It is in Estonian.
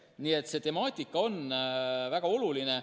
Nii et see temaatika on väga oluline.